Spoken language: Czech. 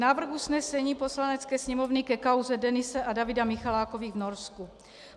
Návrh usnesení Poslanecké sněmovny ke kauze Denise a Davida Michalákových v Norsku.